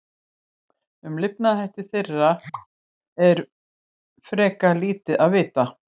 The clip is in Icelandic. Um lifnaðarhætti þeirra er frekar lítið vitað.